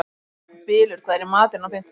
Bylur, hvað er í matinn á fimmtudaginn?